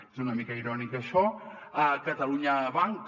és una mica irònic això catalunya banc